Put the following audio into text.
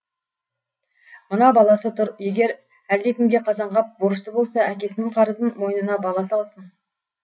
мына баласы тұр егер әлдекімге қазанғап борышты болса әкесінің қарызын мойнына баласы алсын